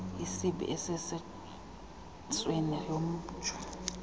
isibi esisesweni jomnye